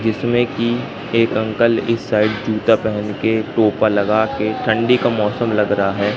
जिसमें की एक अंकल इस साइड जूता पहन के टोपा लगा के ठंडी का मौसम लग रहा है।